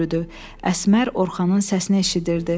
Əsmər Orxanın səsini eşidirdi.